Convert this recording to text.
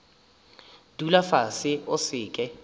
dula fase o se ke